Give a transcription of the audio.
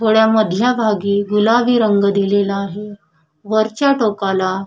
थोडा मधल्या भागी गुलाबी रंग दिलेला आहे वरच्या टोकाला--